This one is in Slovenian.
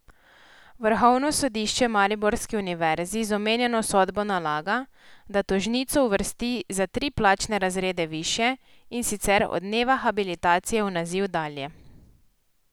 Vrhovno sodišče mariborski univerzi z omenjeno sodbo nalaga, da tožnico uvrsti za tri plačne razrede višje, in sicer od dneva habilitacije v naziv dalje.